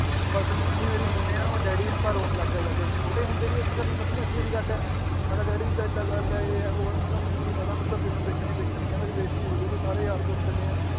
ਬੱਸ mummy ਮੇਰੀ ਮੰਨੇ ਨਾ ਮੈ ਡੈਡੀ ਪਾਸ ਰੋਣ ਲੱਗ ਗਿਆ ਜਾ ਕੇ ਛੋਟੇ ਹੁੰਦੇ ਸੀ ਅਸੀ ਸਾਨੂੰ ਸੱਤਵੀਂ ਅੱਠਵੀਂ ਦੀ ਗੱਲ ਹੈ ਮੈ ਕਾ ਡੈਡੀ ਏਦਾਂ ਏਦਾਂ ਗੱਲ ਏ ਯੇ ਹੈ ਵੋ ਹੈ ਮੈ ਕਾ ਮੈਨੂੰ ਨੀ ਪਤਾ ਮੈਨੂੰ ਤਾਂ ਫਿਲਮ ਦੇਖਣੀ ਦੇਖਣੀ ਏ ਮੇਰੀ ਬੇਜ਼ਤੀ ਹੋਜੂਗੀ ਸਾਰੇ ਯਾਰ ਦੋਸਤ ਚੱਲੇ ਏ